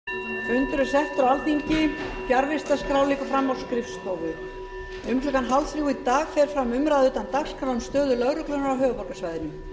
um klukkan fjórtán þrjátíu í dag fer fram umræða utan dagskrár um stöðu lögreglunnar á höfuðborgarsvæðinu